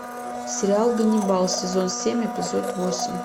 сериал ганнибал сезон семь эпизод восемь